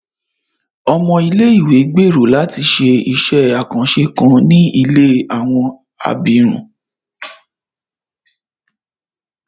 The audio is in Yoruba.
Ọmọ ilé-ìwé gbèrò láti ṣé iṣẹ àkànṣe kan ní ilé àwọn abirùn